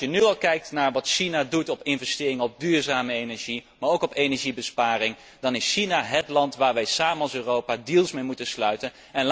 Als je nu al kijkt naar wat China doet op het gebied van investeringen in duurzame energie, maar ook van energiebesparing, dan is China hét land waar wij samen als Europa deals mee moeten sluiten.